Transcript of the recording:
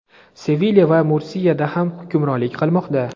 Sevilya va Mursiyada ham hukmronlik qilmoqda.